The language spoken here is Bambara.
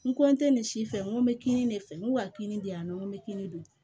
N nin si fɛ n ko n be kinin de fɛ n k'o ka kini di yan nɔ n bɛ kini dun